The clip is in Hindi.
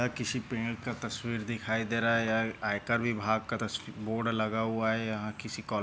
यह किसी पेड का तस्वीर दिखाई दे रहा है। यहाँ आकर विभाग का तस बोर्ड लगा हुआ है। यहाँ किसी कॉ--